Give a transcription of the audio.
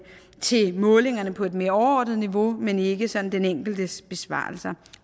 til målingerne på et mere overordnet niveau men ikke sådan den enkeltes besvarelser